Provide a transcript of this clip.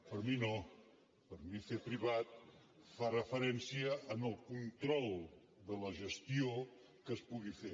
per mi no per mi fer privat fa referència al control de la gestió que es pugui fer